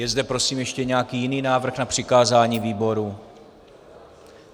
Je zde prosím ještě nějaký jiný návrh na přikázání výboru?